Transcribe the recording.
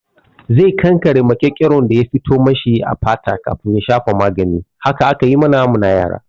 Zai kankare maƙyanƙyaron da ya fito mashi a fata kafin ya shafa magani. Haka aka yi mana mu na yara.